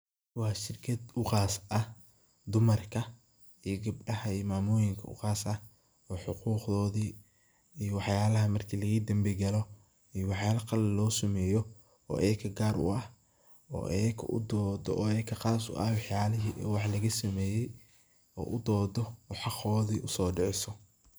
Waa shirkaad uu qaas ah dumarka iyo gabdaha iyo mamoyinka u qaas ah oo xuquqdodi iyo wax yalaha marki dambi lagagalo iyo wax yalo qalaad laga semeye oo iyakaa gaar u ah oo iyaka u dodoo oo iyakaa qaas u ah wax yalihi wax laga sumeye oo udodoo oo xaqodi uso diciso.